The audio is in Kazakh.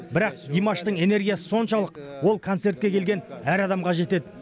бірақ димаштың энергиясы соншалық ол концертке келген әр адамға жетеді